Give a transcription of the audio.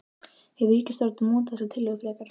Hefur ríkisstjórnin mótað þessar tillögur frekar?